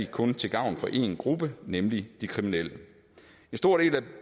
kun til gavn for én gruppe nemlig de kriminelle en stor del af